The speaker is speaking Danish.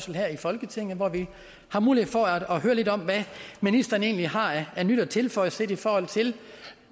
her i folketinget hvor vi har mulighed for at høre lidt om hvad ministeren egentlig har af nyt at tilføje set i forhold til